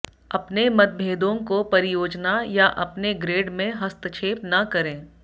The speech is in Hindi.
अपने मतभेदों को परियोजना या अपने ग्रेड में हस्तक्षेप न करें